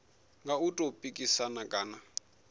nga u tou pikisana kana